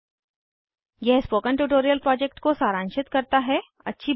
ttpspoken tutorialorgWhat is a Spoken tutorial यह spoken tutorial project को सारांशित करता है